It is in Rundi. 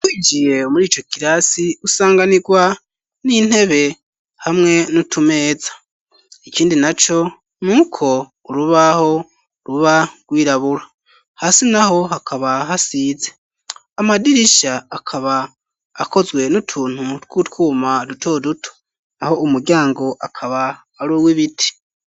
Igiye muri ico kirasi usanganirwa n'intebe hamwe n'utumeza ikindi na co n'uko urubaho ruba rwirabura hasi naho hakaba hasize amadirisha akaba akozwe n'utuntu tw'utwuma duto duto naho umuryango akaba aruwe ibiti